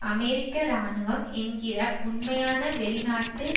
அமெரிக்க இராணுவம் என்கிற உண்மையான வெளிநாட்டு